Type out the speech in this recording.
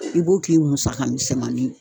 I b'o k'i musaka misɛnmanin ye